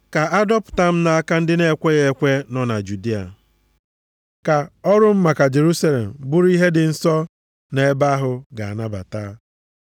Ka a dọpụta m nʼaka ndị na-ekweghị ekwe nọ na Judịa. Ka ọrụ m maka Jerusalem bụrụ ihe ndị nsọ nọ ebe ahụ ga-anabata.